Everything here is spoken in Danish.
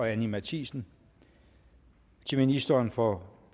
anni matthiesen til ministeren for